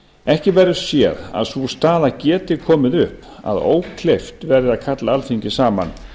ekki verður séð að sú staða geti komið upp að ókleift verði að kalla alþingi saman